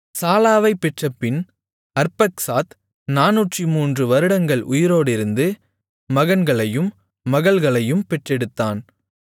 சாலாவைப் பெற்றபின் அர்பக்சாத் 403 வருடங்கள் உயிரோடிருந்து மகன்களையும் மகள்களையும் பெற்றெடுத்தான்